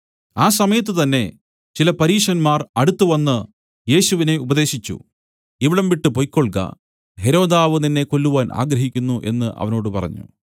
ആ സമയത്തു തന്നേ ചില പരീശന്മാർ അടുത്തുവന്ന് യേശുവിനെ ഉപദേശിച്ചു ഇവിടം വിട്ടു പൊയ്ക്കൊൾക ഹെരോദാവ് നിന്നെ കൊല്ലുവാൻ ആഗ്രഹിക്കുന്നു എന്നു അവനോട് പറഞ്ഞു